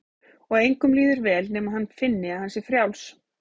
Og engum líður vel nema hann finni að hann sé frjáls.